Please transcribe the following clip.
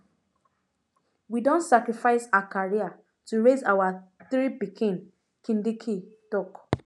wey don sacrifice her career to raise our three pikin kindiki tok